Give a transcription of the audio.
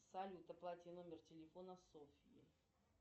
салют оплати номер телефона софьи